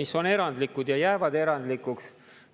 mis on erandlikud ja jäävad erandlikuks.